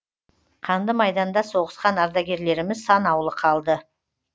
қанды майданда соғысқан ардагерлеріміз санаулы қалды